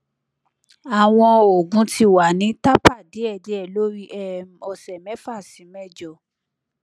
awọn oogun ti wa ni taper diėdiė lori um ọsẹ mefa si mejo